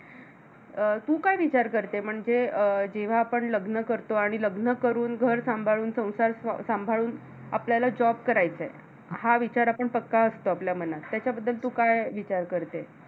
अं तू काय विचार करते, म्हणजे अं जेव्हा आपण लग्न करतो आणि लग्न करून, घर सांभाळून, संसार स सांभाळून आपल्याला job करायचाय. हा विचार आपण पक्का असतो आपल्या मनात. त्याच्याबद्दल तू काय विचार करते?